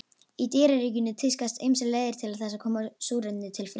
Í dýraríkinu tíðkast ýmsar leiðir til þess að koma súrefni til frumna.